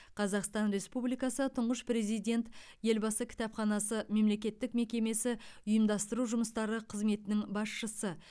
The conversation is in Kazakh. қазақстан республикасы тұңғыш президент елбасы кітапханасы мемлекеттік мекемесі ұйымдастыру жұмыстары қызметінің басшысы